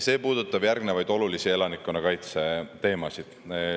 See puudutab järgmisi olulisi elanikkonnakaitse teemasid.